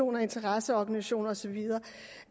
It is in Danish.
og interesseorganisationer og så videre